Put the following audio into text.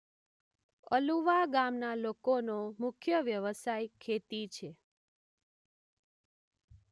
અલુવા ગામના લોકોનો મુખ્ય વ્યવસાય ખેતી છે.